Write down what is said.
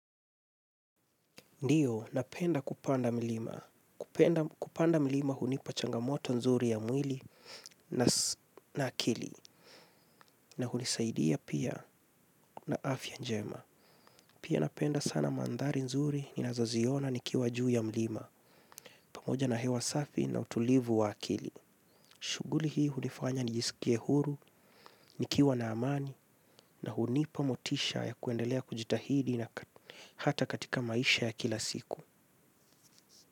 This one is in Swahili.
Ndiyo, napenda kupanda milima. Kupanda milima hunipa changamoto nzuri ya mwili na akili na hunisaidia pia na afya njema. Pia napenda sana mandhari nzuri ninazo ziona nikiwa juu ya milima pamoja na hewa safi na utulivu wa akili. Shuguli hii hunifanya nijisikie huru, nikiwa na amani na hunipa motisha ya kuendelea kujitahidi na hata katika maisha ya kila siku.